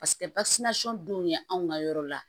dun ye anw ka yɔrɔ la